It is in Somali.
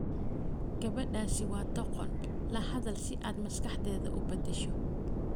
Gabadhaasi waa doqon, la hadal si aad maskaxdeeda u beddesho.